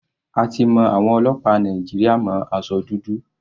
A ti mọ àwọn ọlọ́pàá Nàìjíríà mọ́ aṣọ dúdú.